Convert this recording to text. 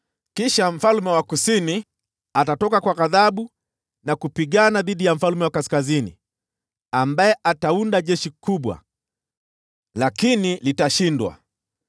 “Kisha mfalme wa Kusini atatoka kwa ghadhabu na kupigana dhidi ya mfalme wa Kaskazini, ambaye ataunda jeshi kubwa, lakini litashindwa.